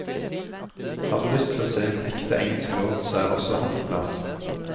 Har du lyst til å se en ekte engelsk lord, så er også han på plass.